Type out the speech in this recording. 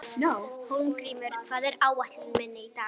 Hólmgrímur, hvað er á áætluninni minni í dag?